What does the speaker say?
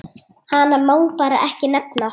Hana má bara ekki nefna.